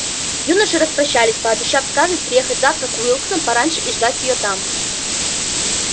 юноши распрощались пообещав скарлетт приехать завтра к уилксам пораньше и ждать её там